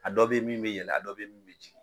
A dɔ bɛ min bɛ yɛlɛn a dɔ bɛ ye min bɛ jigin